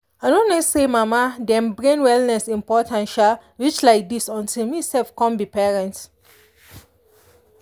i no know say mama dem brain wellness important um reach like dis until me sef come be parent.